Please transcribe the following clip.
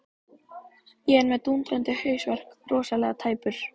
Ég er með dúndrandi hausverk, rosalega tæpur.